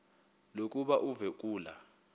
lokuba uve kulaa